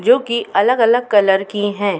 जो कि अलग-अलग कलर की हैं।